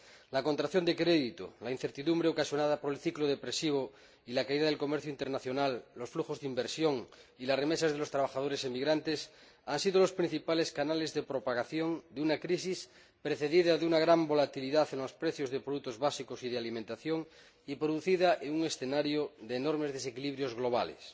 La contracción del crédito, la incertidumbre ocasionada por el ciclo depresivo y la caída del comercio internacional, de los flujos de inversión y de las remesas de los trabajadores emigrantes han sido los principales canales de propagación de una crisis precedida de una gran volatilidad en los precios de productos básicos y de alimentación y producida en un escenario de enormes desequilibrios globales.